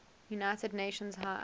united nations high